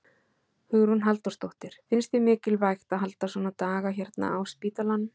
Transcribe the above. Hugrún Halldórsdóttir: Finnst þér mikilvægt að halda svona daga hérna á spítalanum?